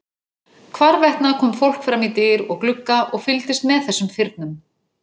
Hvarvetna kom fólk fram í dyr og glugga og fylgdist með þessum firnum.